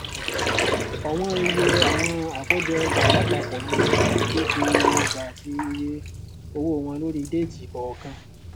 ọwọn iye àwọn àkójọọjà lápapọ ní gbèdéke iye ọjà àti iye owó wọn lórí déètì kọọkan